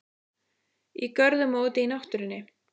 Í görðum og úti í náttúrunni.